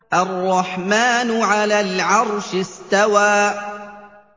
الرَّحْمَٰنُ عَلَى الْعَرْشِ اسْتَوَىٰ